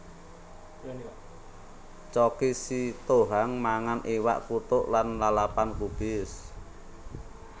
Choky Sitohang mangan iwak kuthuk lan lalapan gubis